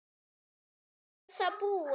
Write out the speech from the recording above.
og svo er það búið.